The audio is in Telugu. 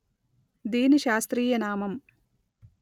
దీని శాస్త్రీయ నామం